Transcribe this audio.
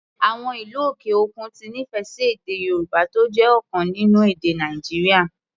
Àwọn ìlú òkè òkun ti nífẹ̀ẹ́ sí èdè Yorùbá, tó jẹ́ ọ̀kan nínú èdè Nàìjíríà.